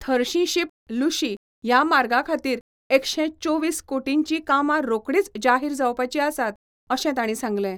थर्शीशीप लूशी ह्या मार्गाखातीर एकशे चोवीस कोटींची कामां रोकडीच जाहीर जावपाची आसात अशें ताणी सांगले.